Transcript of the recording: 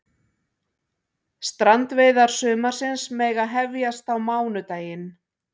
Strandveiðar sumarsins mega hefjast á mánudaginn